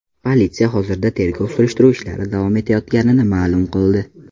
Politsiya hozirda tergov-surishtiruv ishlari davom etayotganini ma’lum qildi.